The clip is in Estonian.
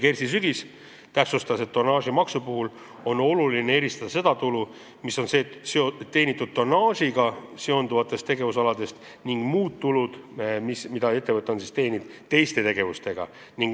Kersti Sügis täpsustas, et tonnaažimaksu puhul on oluline eristada seda tulu, mis on teenitud tonnaažiga seonduvatest tegevusaladest, ning muud tulu, mida ettevõte on teeninud teiste tegevustega.